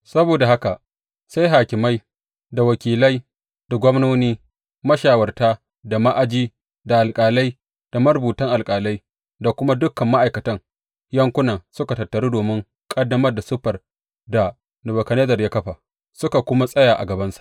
Saboda haka sai hakimai, da wakilai da gwamnoni, mashawarta da ma’aji da alƙalai, da marubutan alƙalai, da kuma dukan ma’aikatan yankunan suka tattaru domin kaddamar da siffar da Nebukadnezzar ya kafa, suka kuma tsaya a gabansa.